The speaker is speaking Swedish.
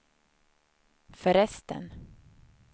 förresten